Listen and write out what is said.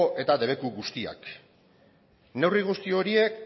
eta debeku guztiak neurri guzti horiek